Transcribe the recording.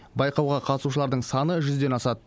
байқауға қатысушылардың саны жүзден асады